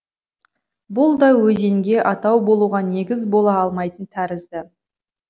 бұл да өзенге атау болуға негіз бола алмайтын тәрізді